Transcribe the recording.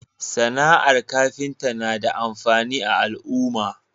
SAna ar kafinta na da amfani a al'uma